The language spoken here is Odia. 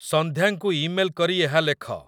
ସନ୍ଧ୍ୟାଙ୍କୁ ଇମେଲ କରି ଏହା ଲେଖ